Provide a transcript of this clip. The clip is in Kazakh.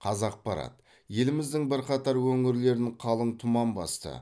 қазақпарат еліміздің бірқатар өңірлерін қалың тұман басты